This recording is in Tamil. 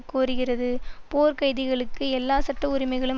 கோருகிறது போர்க் கைதிகளுக்கு எல்லா சட்ட உரிமைகளும்